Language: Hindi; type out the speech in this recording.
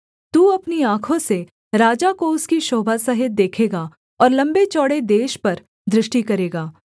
तू अपनी आँखों से राजा को उसकी शोभा सहित देखेगा और लम्बेचौड़े देश पर दृष्टि करेगा